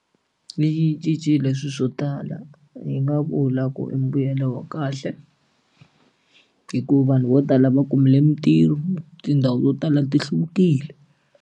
Yi cincile swilo swo tala hi nga vula ku i mbuyelo wa kahle hikuva vanhu vo tala va kumile mitirho tindhawu to tala ti hluvukile.